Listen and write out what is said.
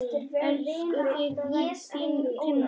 Elska þig, þín Tinna.